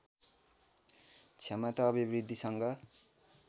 क्षमता अभिवृद्धि सँग